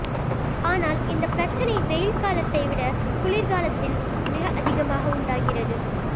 ஆனால் இந்த பிரச்சினை வெயில் காலத்தை விட குளிர்காலத்தில் மிக அதிகமாக உண்டாகிறது